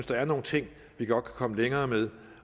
der er nogle ting vi godt kan komme længere med